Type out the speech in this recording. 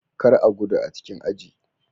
Kar a gudu a cikin aji.